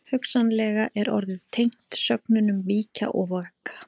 Hugsanlega er orðið tengt sögnunum víkja og vaka.